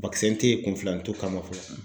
tɛ ye kunfilanitu kama fɔlɔ.